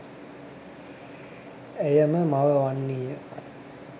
ඇය ම මව වන්නී ය.